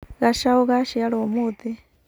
Gacaũ gaciarũo ũmũthĩ.